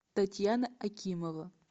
татьяна акимова